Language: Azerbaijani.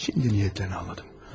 İndi niyyətlərini anladım.